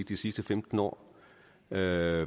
de sidste femten år hvad